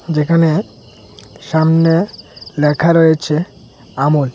যেখানে সামনে লেখা রয়েছে আমুল।